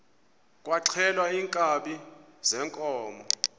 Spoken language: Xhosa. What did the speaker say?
kwaxhelwa iinkabi zeenkomo